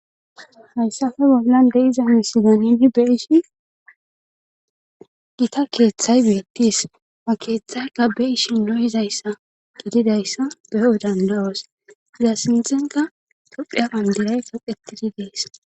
hayssafe bollan deiza misidaniyi beishi gita keeththay beettis ma keeththay kabbe ishi no7izayssa gididayssa beyo dandawoos giza sintenka tophea panderay koqetidi dees